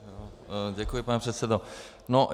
Děkuji, pane předsedo.